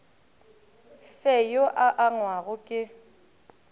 fe yo a angwago ke